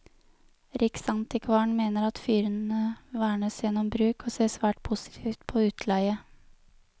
Riksantikvaren mener at fyrene vernes gjennom bruk, og ser svært positivt på utleie.